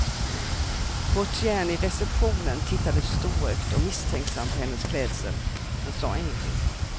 Portieren i receptionen tittade storögt och misstänksamt på hennes klädsel, men sa ingenting.